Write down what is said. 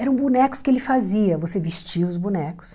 Eram bonecos que ele fazia, você vestia os bonecos.